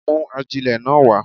Mú ajílẹ̀ náà wá.